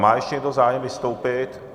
Má ještě někdo zájem vystoupit?